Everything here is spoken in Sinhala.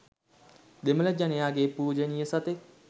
දෙමල ජනයාගේ පුජනිය සතෙක්.